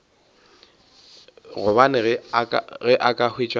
gobane ge a ka hwetša